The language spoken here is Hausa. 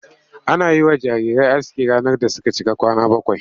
Ana yi wa jarirai aski ranar da suka cika kwana bakwai.